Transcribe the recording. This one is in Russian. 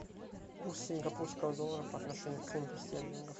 курс сингапурского доллара по отношению к фунту стерлингов